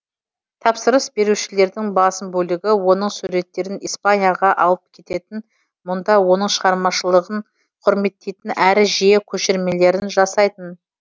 тапсырыс берушілердің басым бөлігі оның суреттерін испанияға алып кететін мұнда оның шығармашылығын құрметтейтін әрі жиі көшірмелерін жасайтын